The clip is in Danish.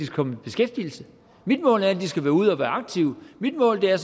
komme i beskæftigelse mit mål er at de skal være ude og være aktive mit mål er